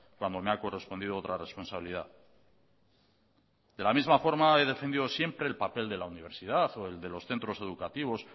cuando me ha correspondido otra responsabilidad de la misma forma he defendido siempre el papel de la universidad o el de los centros educativos